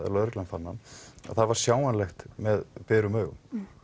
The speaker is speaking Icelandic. lögreglan fann hann að það var sjáanlegt með berum augum